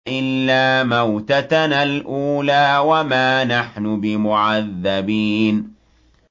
إِلَّا مَوْتَتَنَا الْأُولَىٰ وَمَا نَحْنُ بِمُعَذَّبِينَ